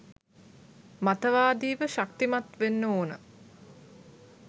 මතවාදීව ශක්තිමත් වෙන්න ඕන.